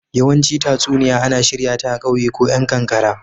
yawanci tatsuniya ana shirya ta a kauye ko yan kankara.